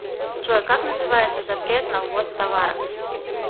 джой как называется запрет на ввоз товаров